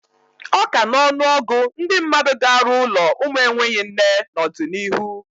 Ọka n'ọnụ ọgụ ndị mmadụ ga-arụ ụlọ ụmụ enweghị nne n'ọdịnihu.